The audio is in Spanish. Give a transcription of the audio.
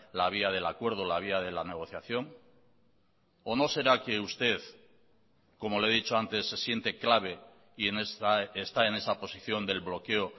la vía del acuerdo la vía de la negociación o no será que usted como le he dicho antes se siente clave y está en esa posición del bloqueo